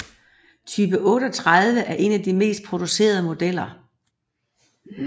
Type 38 er en af de mest producerede modeller